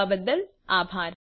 જોડાવા બદલ આભાર